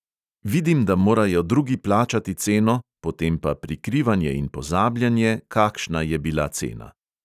Vidim, da morajo drugi plačati ceno, potem pa prikrivanje in pozabljanje, kakšna je bila cena.